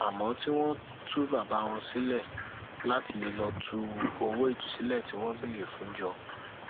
àmọ tí wọn tú bàbá wọn sílẹ láti lè lọọ tú owó ìtúsílẹ tí wọn béèrè fún jọ